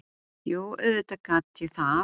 Jú, auðvitað gat ég það.